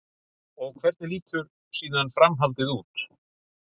Og hvernig lítur síðan framhaldið út?